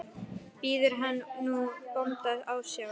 Biður hann nú bónda ásjár.